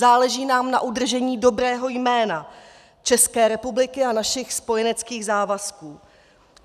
Záleží nám na udržení dobrého jména České republiky a našich spojeneckých závazků.